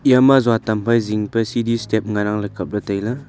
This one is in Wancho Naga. yama juatam phai jing pe siri step ngan ang kaple.